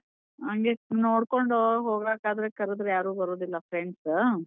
ಹಂಗೆ ನೋಡ್ಕೊಂಡು ಹೋಗಕಾದ್ರೆ ಕರದ್ರೆ ಯಾರೂ ಬರುದಿಲ್ಲ friends .